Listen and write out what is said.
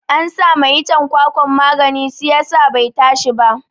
An sama iccen kwakwan magani siyasa bai tashi ba